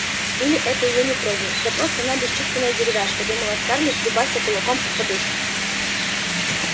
или это её не трогает да просто она бесчувственная деревяшка думала скарлетт дубася кулаком по подушке